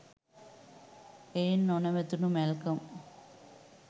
එයින් නොනැවතුනු මැල්කම්